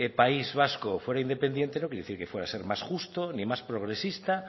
país vasco fuera independiente no quiere decir que fuera a ser más justo ni más progresista